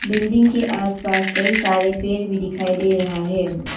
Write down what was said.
Building के आस पास कई सारे पेड़ भी दिखाई दे रहा है।